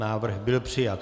Návrh byl přijat.